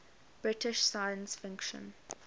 british science fiction